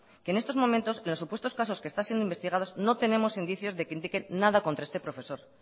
que en estos momentos en los supuestos casos que están siendo investigados no tenemos indicios de que indiquen nada contra este profesor